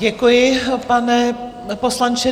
Děkuji, pane poslanče.